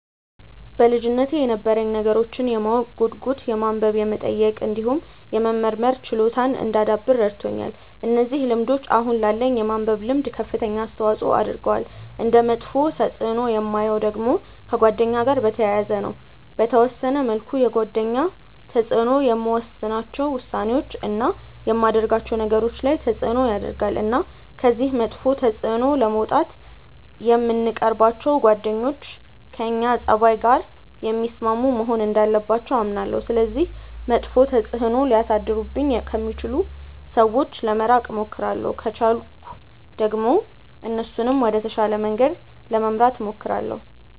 በልጅነቴ የነበረኝ ነገሮችን የማወቅ ጉጉት የማንበብ የመጠየቅ እንዲሁም የመመርመር ችሎታን እንዳዳብር ረድቶኛል። እነዚህ ልምዶች አሁን ላለኝ የማንበብ ልምድ ከፍተኛ አስተዋጽዖ አድርገዋል። እንደ መጥፎ ተፅእኖ የማየው ደግሞ ከጓደኛ ጋር በተያያዘ ነው። በተወሰነ መልኩ የጓደኞች ተጽእኖ የምወስናቸው ውሳኔዎች፣ እና የማደርጋቸው ነገሮች ላይ ተጽእኖ ያረጋል። እና ከዚህ መጥፎ ተጽእኖ ለመውጣት የምንቀርባቸው ጓደኞች ከእኛ ፀባይ ጋር የሚስማሙ መሆን እንዳለባቸው አምናለሁ። ስለዚህ መጥፎ ተጽእኖ ሊያሳድሩብኝ ከሚችሉ ሰዎች ለመራቅ እሞክራለሁ። ከቻልኩ ደግሞ እነሱንም ወደ ተሻለ መንገድ ለመምራት እሞክራለሁ።